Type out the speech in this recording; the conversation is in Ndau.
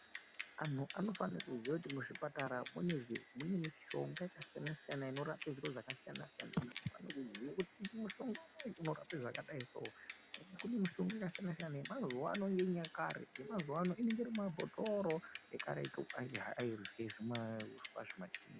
Anhu anofane kuziya kuti muzvipatara mune mishonga yakasiyana-siyana inorape zviro zvakasiyana-siyana, anofane kuziye kuti mushonga unowu unorape zvakadai zvakadai soo ende kune mishonga yakasiyana-siyana yamazuvaano neyenyakare. Yamazuvaano inenge iri mumabhotoro, ekaretu airye zvimauswa, zvimachiinyi.